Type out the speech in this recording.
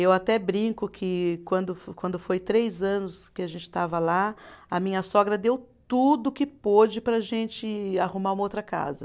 Eu até brinco que quando fo, quando foi três anos que a gente estava lá, a minha sogra deu tudo que pôde para a gente arrumar uma outra casa.